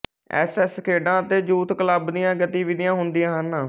S S ਖੇਡਾਂ ਅਤੇ youth club ਦੀਆਂ ਗਤੀਵਿਧੀਆਂ ਹੁੰਦੀਆ ਹਨ